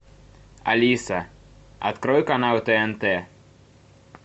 алиса открой канал тнт